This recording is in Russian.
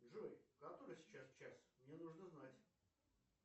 джой который сейчас час мне нужно знать